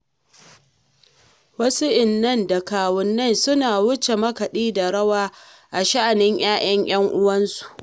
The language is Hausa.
Wasu innai da kawunnai suna wuce makaɗi da rawa a sha'anin 'ya'yan 'yan uwansu.